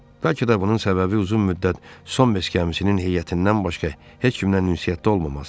Bəlkə də bunun səbəbi uzun müddət son beş gəmisinin heyətindən başqa heç kimlə ünsiyyətdə olmaması idi.